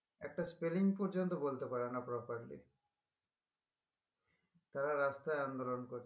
একটা spelling পর্যন্ত বলতে পারে না properly তারা রাস্তাই আন্দলন করছে